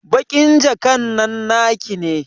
Baƙin jakan nan naki ne?